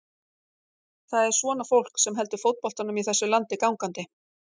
Það er svona fólk sem heldur fótboltanum í þessu landi gangandi.